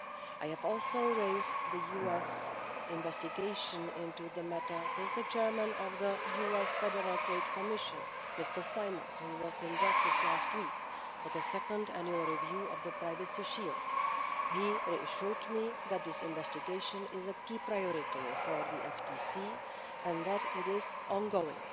I have also raised the US investigation into the matter with the Chair of the US Federal Trade Commission Mr Simons, who was in Brussels last week for the second annual review of the Privacy Shield. He reassured me that this investigation is a key priority for the FTC and that it is ongoing.